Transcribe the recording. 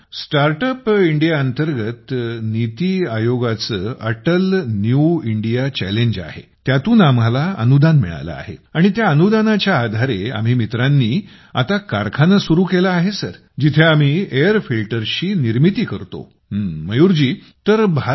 sir startup India अंतर्गत नीति आयोगाचे अटल न्यू इंडिया चॅलेंजजे आहे त्यातून आम्हाला अनुदान मिळालं आहे आणि त्याअनुदानाच्या आधारे आम्ही मित्रांनी आता कारखाना चालू केला आहे जिथे आम्ही एअर फिल्टर्सची निर्मिती करू शकतो